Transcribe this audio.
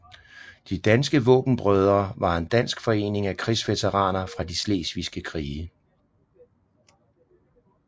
De danske Vaabenbrødre var en dansk forening af krigsveteraner fra de slesvigske krige